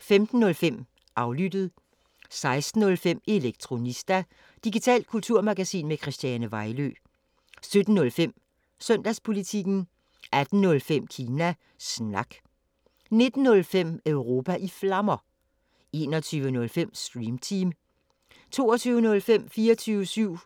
15:05: Aflyttet 16:05: Elektronista – digitalt kulturmagasin med Christiane Vejlø 17:05: Søndagspolitikken 18:05: Kina Snak 19:05: Europa i Flammer 21:05: Stream Team 22:05: 24syv